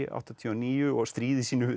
áttatíu og níu og stríði sínu